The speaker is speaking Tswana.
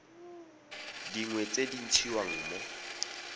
dingwe tse di ntshiwang mo